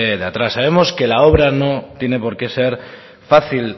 de atrás sabemos que la obra no tiene por qué ser fácil